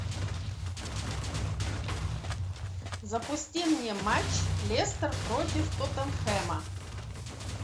запусти мне матч лестер против тоттенхэма